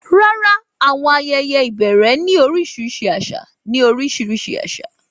Rárá, àwọn ayẹyẹ ìbẹ̀rẹ̀ ní oríṣiríṣi àṣà ní oríṣiríṣi àṣà.